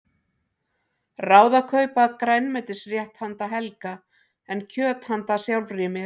Ráð að kaupa grænmetisrétt handa Helga en kjöt handa sjálfri mér.